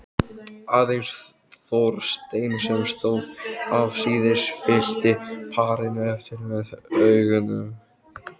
Aðeins Þorsteinn sem stóð afsíðis, fylgdi parinu eftir með augunum.